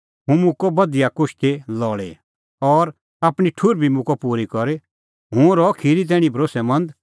हुंह मुक्कअ बधिया कुश्ती लल़ी और आपणीं ठुहर बी मुक्कअ हुंह पूरी करी हुंह रहअ खिरी तैणीं भरोस्सैमंद